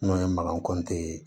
N'o ye makan kɔnti ye